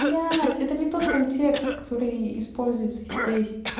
блять это не тот контекст который используется здесь